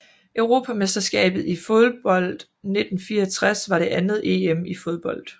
Europamesterskabet i fodbold 1964 var det andet EM i fodbold